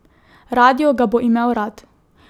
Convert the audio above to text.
Radio ga bo imel rad.